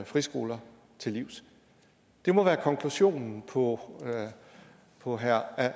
friskoler til livs det må være konklusionen på på herre